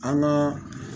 An ka